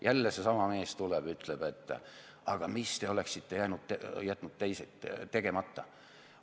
Ja jälle seesama mees tuleb ja ütleb, et aga mis te oleksite jätnud tegemata.